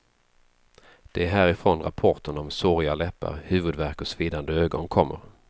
Det är härifrån rapporterna om såriga läppar, huvudvärk och svidande ögon kommer.